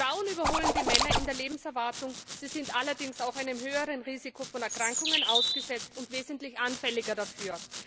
Frauen überholen die Männer in der Lebenserwartung, sie sind allerdings auch einem höheren Risiko von Erkrankungen ausgesetzt und wesentlich anfälliger dafür.